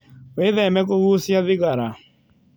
Wĩtheme kũgũcia thĩgara